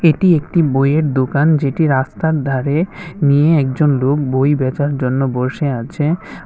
এটি একটি বইয়ের দোকান যেটি রাস্তার ধারে নিয়ে একজন লোক বই বেচার জন্য বসে আছে।